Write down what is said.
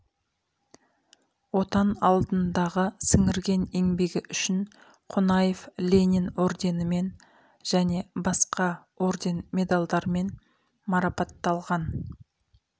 отан алдындағы сіңірген еңбегі үшін қонаев ленин орденімен және басқа орден медальдармен марапатталған